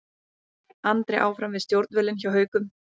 Andri áfram við stjórnvölinn hjá Haukum